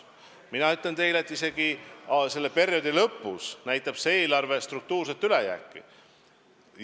Mina ütlen teile, et selle perioodi lõpus näitab see eelarve struktuurset ülejääki.